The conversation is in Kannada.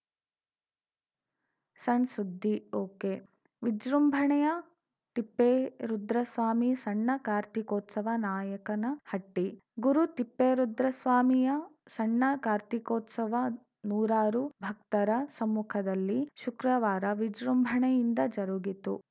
ಸಣ್‌ಸುದ್ದಿ ಒಕೆವಿಜೃಂಭಣೆಯ ತಿಪ್ಪೇರುದ್ರಸ್ವಾಮಿ ಸಣ್ಣ ಕಾರ್ತಿಕೋತ್ಸವ ನಾಯಕನಹಟ್ಟಿ ಗುರು ತಿಪ್ಪೇರುದ್ರಸ್ವಾಮಿಯ ಸಣ್ಣ ಕಾರ್ತೀಕೋತ್ಸವ ನೂರಾರು ಭಕ್ತರ ಸಮ್ಮುಖದಲ್ಲಿ ಶುಕ್ರವಾರ ವಿಜೃಂಭಣೆಯಿಂದ ಜರುಗಿತು